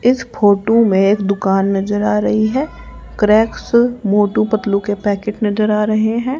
इस फोटो में एक दुकान नजर आ रही है क्रैक्स मोटू पतलू के पैकेट नजर आ रहे हैं।